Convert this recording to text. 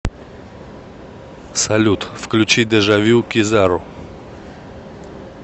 салют включи дежавю кизару